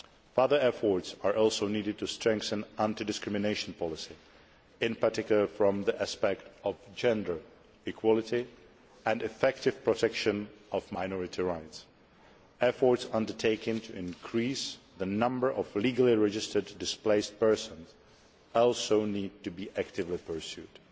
Further efforts are also needed to strengthen anti discrimination policy, in particular from the aspect of gender equality and the effective protection of minority rights. Efforts to increase the number of legally registered displaced persons also need to be actively pursued.